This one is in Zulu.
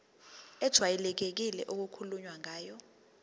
ejwayelekile okukhulunywe ngayo